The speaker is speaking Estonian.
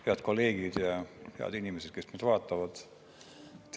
Head kolleegid ja head inimesed, kes meid vaatavad!